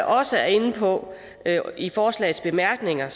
også er inde på i forslagets bemærkninger